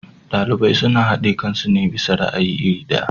Ɗalibai suna haɗe kansu ne bisa ra'ayi iri ɗaya.